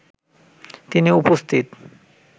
তিনি উপস্থিত